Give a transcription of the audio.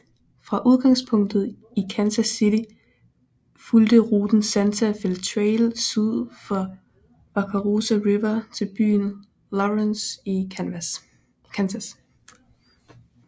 Fra udgangspunktet i Kansas City fulgte ruten Santa Fe Trail syd for Wakarusa River til byen Lawrence i Kansas